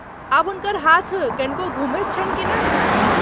आब हुनकर हाथ कनिको घुमैत छन्हि की नहि?